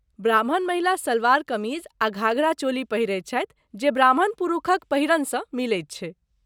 ब्राह्मण महिला सलवार कमीज आ घाघरा चोली पहिरैत छथि जे ब्राह्मण पुरुषक पहिरनसँ मिलैत छै।